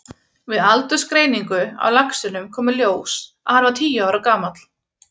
Við aldursgreiningu á laxinum kom í ljós að hann var tíu ára gamall.